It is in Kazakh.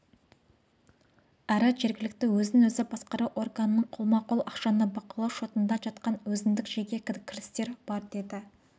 әрі жергілікті өзін-өзі басқару органының қолма-қол ақшаны бақылау шотында жатқан өзіндік жеке кірістер бар деді